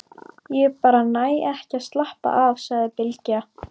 Ég bara næ ekki að slappa af, sagði Bylgja.